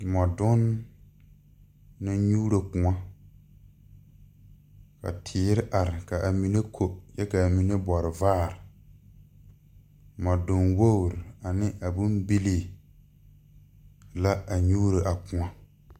Mɔdonne naŋ nyuuro koɔ ka teere are ka amine ko kyɛ ka mine bɔre vaare mɔdonne wogiri ane a bombilii la a nyuuro a koɔ.